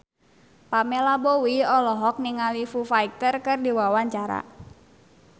Pamela Bowie olohok ningali Foo Fighter keur diwawancara